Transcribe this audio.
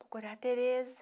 Procurar a Tereza.